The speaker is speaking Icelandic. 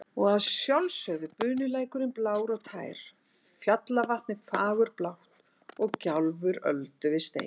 Og að sjálfsögðu bunulækurinn blár og tær, fjallavatnið fagurblátt og gjálfur öldu við stein.